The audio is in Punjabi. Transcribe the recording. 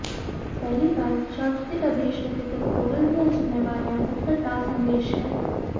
ਪਹਿਲੀ ਗੱਲ ਚਰਚ ਦੇ ਆਦੇਸ਼ ਅਤੇ ਪੇਸਟੋਰਲ ਦੀਆਂ ਜ਼ਿੰਮੇਵਾਰੀਆਂ ਬਾਰੇ ਹਿਦਾਇਤਾਂ ਪੱਤਰ ਦਾ ਸੰਦੇਸ਼ ਹੈ